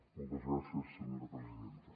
moltes gràcies senyora presidenta